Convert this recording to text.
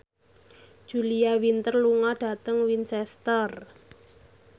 Julia Winter lunga dhateng Winchester